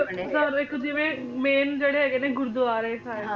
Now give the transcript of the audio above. ਉਦਾਹਰਣ ਦੇਖੋ ਜਿਵੇਂ main ਜਿਹੜੇ ਹੈਗੇ ਗੁਰਦੁਆਰੇ ਸਾਹਿਬ ਨੇ